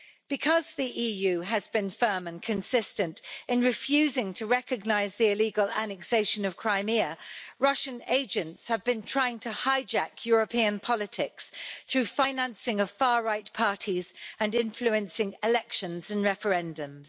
Because the EU has been firm and consistent in refusing to recognise the illegal annexation of Crimea, Russian agents have been trying to hijack European politics through financing far right parties and influencing elections and referendums.